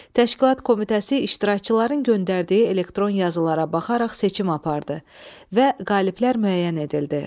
Təşkilat Komitəsi iştirakçıların göndərdiyi elektron yazılara baxaraq seçim apardı və qaliblər müəyyən edildi.